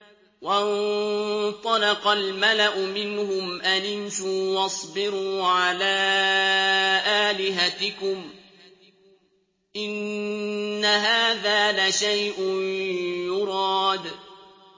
وَانطَلَقَ الْمَلَأُ مِنْهُمْ أَنِ امْشُوا وَاصْبِرُوا عَلَىٰ آلِهَتِكُمْ ۖ إِنَّ هَٰذَا لَشَيْءٌ يُرَادُ